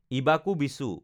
ইবাঁকু বিচু